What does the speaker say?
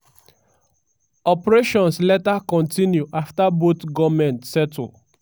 operations later kontinu afta both goment settle.